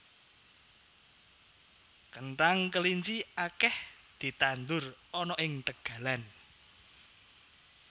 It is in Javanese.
Kenthang kelinci akeh ditandur ana ing tegalan